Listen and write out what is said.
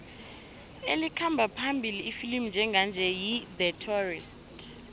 elikhamba phambili ifilimu njenganje yi the tourist